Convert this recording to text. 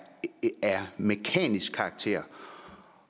af mekanisk karakter